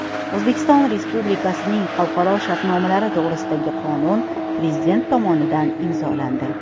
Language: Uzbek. O‘zbekiston Respublikasining xalqaro shartnomalari to‘g‘risidagi qonun Prezident tomonidan imzolandi.